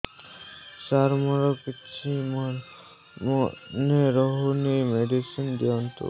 ସାର ମୋର କିଛି ମନେ ରହୁନି ମେଡିସିନ ଦିଅନ୍ତୁ